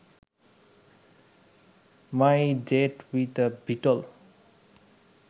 my date with a beetle